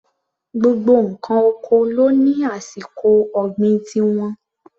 Gbogbo ǹkan oko ló ní àsìkò ọ̀gbìn ti wọn.